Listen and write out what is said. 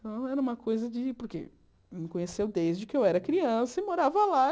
Então, era uma coisa de... Porque me conheceu desde que eu era criança e morava lá.